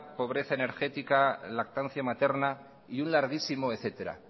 pobreza energética lactancia materna y un larguísimo etcétera